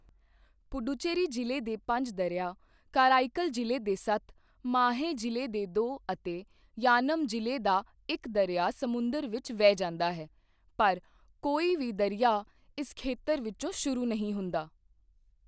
ਪੁਡੂਚੇਰੀ ਜ਼ਿਲ੍ਹੇ ਦੇ ਪੰਜ ਦਰਿਆ, ਕਰਾਈਕਲ ਜ਼ਿਲ੍ਹੇ ਦੇ ਸੱਤ, ਮਾਹੇ ਜ਼ਿਲ੍ਹੇ ਦੇ ਦੋ ਅਤੇ ਯਾਨਮ ਜ਼ਿਲ੍ਹੇ ਦਾ ਇੱਕ ਦਰਿਆ ਸਮੁੰਦਰ ਵਿੱਚ ਵਹਿ ਜਾਂਦਾ ਹੈ, ਪਰ ਕੋਈ ਵੀ ਦਰਿਆ ਇਸ ਖੇਤਰ ਵਿੱਚੋ ਸ਼ੁਰੂ ਨਹੀਂ ਹੁੰਦਾ।